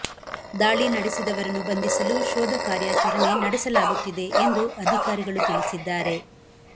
ದಾಳಿ ನಡೆಸಿದವರನ್ನು ಬಂಧಿಸಲು ಶೋಧ ಕಾರ್ಯಾಚರಣೆ ನಡೆಸಲಾಗುತ್ತಿದೆ ಎಂದು ಅಧಿಕಾರಿಗಳು ತಿಳಿಸಿದ್ದಾರೆ